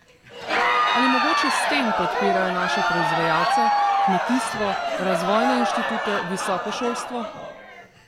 Ali mogoče s tem podpirajo naše proizvajalce, kmetijstvo, razvojne inštitute, visoko šolstvo?